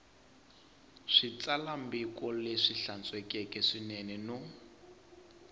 xitsalwambiko lexi hlantswekeke swinene no